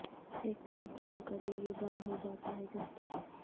ہیکس install کریں یہ بند ہو جاتا ہے جب تک